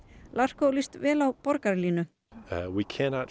larco líst vel á borgarlínu